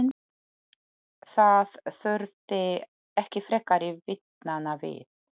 Það þurfti ekki frekari vitnanna við.